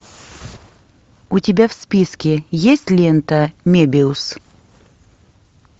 у тебя в списке есть лента мебиус